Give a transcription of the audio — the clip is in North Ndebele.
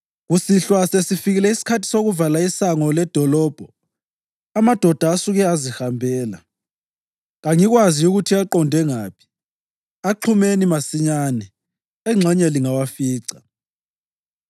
Kusihlwa, sesifikile isikhathi sokuvala isango ledolobho, amadoda asuke azihambela. Kangikwazi ukuthi aqonde ngaphi. Axhumeni masinyane. Engxenye lingawafica.”